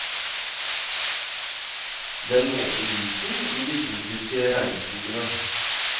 Den våte disen i de tropiske regnskogene.